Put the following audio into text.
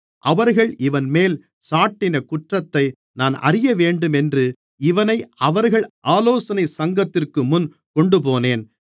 அவர்கள் இவன்மேல் சாட்டின குற்றத்தை நான் அறியவேண்டுமென்று இவனை அவர்கள் ஆலோசனைச் சங்கத்திற்குமுன் கொண்டுபோனேன்